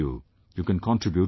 You can contribute to the site